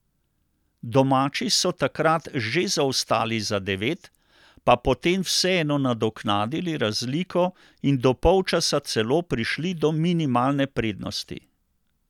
Domači so takrat že zaostali za devet, pa potem vseeno nadoknadili razliko in do polčasa celo prišli do minimalne prednosti.